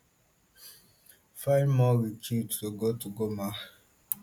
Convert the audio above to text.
find more recruits to go to goma